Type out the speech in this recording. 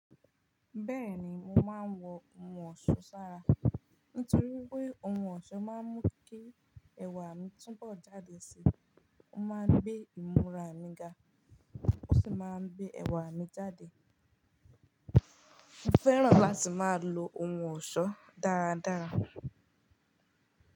Bẹ́ẹ̀ni mo máa ń wọ ohun ọ̀ṣọ́ ṣára nítorí wípé ohun ọ̀ṣọ́ máa ń mú kí ẹwà mi tún bọ̀ jáde síi, ó máa ń gbé ìmúra mi ga ó sì máa ń gbé ẹwà mi jáde. Mo fẹ́ràn láti máa lo ohun ọ̀ṣọ́ dáradára.